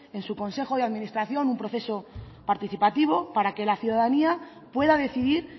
en su consejo de administración un proceso participativo para que la ciudadanía pueda decidir